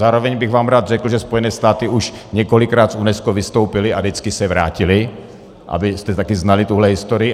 Zároveň bych vám rád řekl, že Spojené státy už několikrát z UNESCO vystoupily a vždycky se vrátily, abyste taky znali tuhle historii.